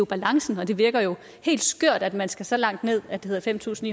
balancen og det virker helt skørt at man skal så langt ned at det hedder fem tusind